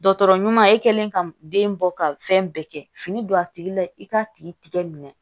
Dɔgɔtɔrɔ ɲuman e kɛlen ka den bɔ ka fɛn bɛɛ kɛ fini don a tigi la i k'a tigi tigɛ minɛ